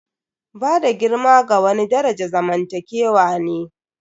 Bada girma ga wani daraja zamantakewa ne.